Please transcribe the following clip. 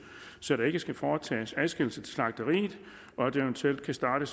så der ikke skal foretages adskillelse til slagteriet og at det eventuelt kan starte